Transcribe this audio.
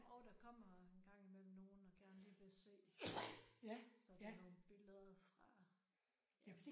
Jo der kommer engang imellem nogen og gerne lige vil se sådan nogle billeder fra ja